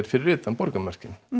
fyrir utan borgarmörkin